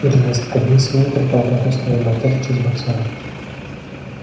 через несколько дней свиньи предполагают устроить банкет в честь боксёра